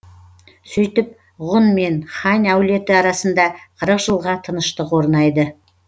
сөйтіп ғұн мен хань әулеті арасында қырық жылға тыныштық орнайды